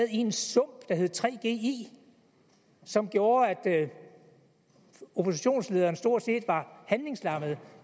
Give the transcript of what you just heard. en sump som gjorde at oppositionslederen stort set var handlingslammet